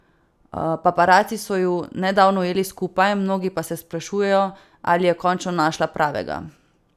Paparaci so ju nedavno ujeli skupaj, mnogi pa se sprašujejo, ali je končno našla pravega.